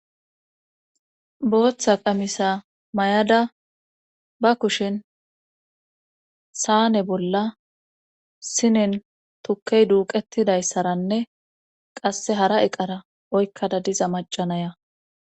booththa qamisa mayada ba kushen saane bolla sinen tukkey duuqettidayssaranne qasse hara eqara oykkada diza macanaya